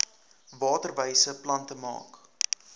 waterwyse plante maak